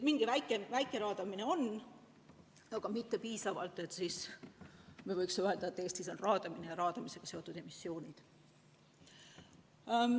Mingi väike raadamine on, aga mitte piisav, et me võiksime öelda, et Eestis on raadamisega seotud emissioonid.